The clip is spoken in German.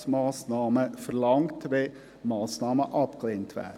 Diese verlangt Ersatzmassnahmen, wenn Massnahmen abgelehnt werden.